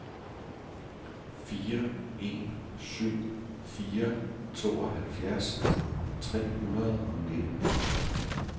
fire en syv fire tooghalvfjerds tre hundrede og nitten